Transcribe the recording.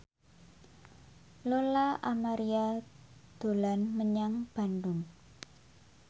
Lola Amaria dolan menyang Bandung